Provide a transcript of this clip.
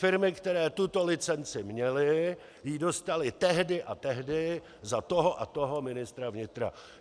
Firmy, které tuto licenci měly, ji dostaly tehdy a tehdy za toho a toho ministra vnitra.